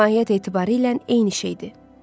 Mahiyyət etibarilə eyni şeydir.